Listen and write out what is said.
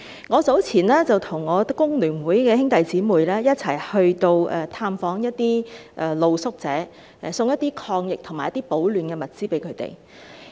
我早前與工聯會的成員一起探訪露宿者，送贈一些抗疫和保暖的物資給他們。